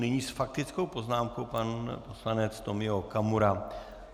Nyní s faktickou poznámkou pan poslanec Tomio Okamura.